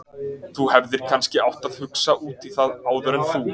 Þú hefðir kannski átt að hugsa út í það áður en þú.